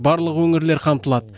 барлық өңірлер қамтылады